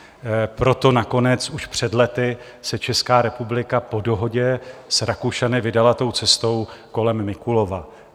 Proto nakonec už před lety se Česká republika po dohodě s Rakušany vydala tou cestou kolem Mikulova.